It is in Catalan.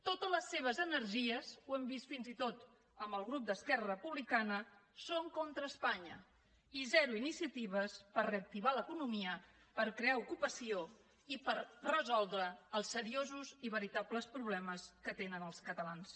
totes les seves energies ho hem vist fins i tot amb el grup d’esquerra republicana són contra espanya i zero iniciatives per reactivar l’economia per crear ocupació i per resoldre els seriosos i veritables problemes que tenen els catalans